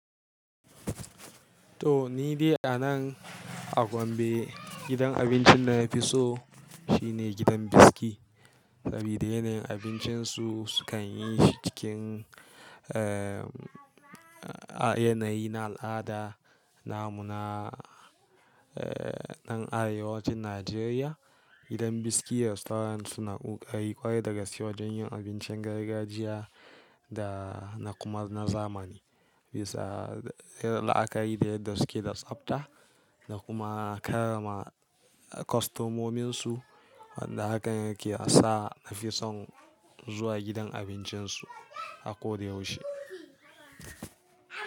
To ni dai a nan a Gombe, gidan abincin da na fi so shine gidan Biski. Sabida yanayin abincin su, sukan yi shi cikin, eh, a yanayi na al'ada, lamuna, eh, na arewacin Najeriya. Gidan Biski Restaurant suna ƙoƙari ƙwarai dagaske wa jen yin abincin gargajiya da na kuma na zamani. Bisa, la'akari da yadda suke da tsafta da kuma karrama kwastomomin su, wanda hakan yake sa na fi son zuwa gidan abincin su a ko da yaushe.